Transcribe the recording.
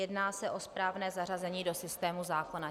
Jedná se o správné zařazení do systému zákona.